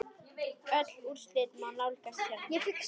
Öll úrslit má nálgast hérna.